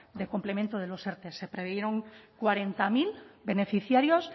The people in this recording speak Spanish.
de complemento de los erte se previeron cuarenta mil beneficiarios